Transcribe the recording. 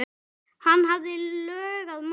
Hann hafði lög að mæla.